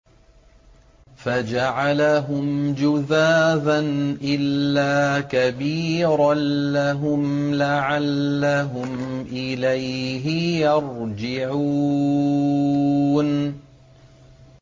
فَجَعَلَهُمْ جُذَاذًا إِلَّا كَبِيرًا لَّهُمْ لَعَلَّهُمْ إِلَيْهِ يَرْجِعُونَ